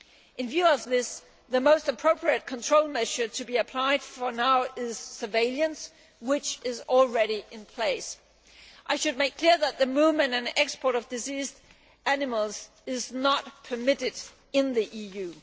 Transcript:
In view of this, the most appropriate control measure to be applied, for now, is surveillance, which is already in place. I should make clear that the movement and export of diseased animals is not permitted in the EU.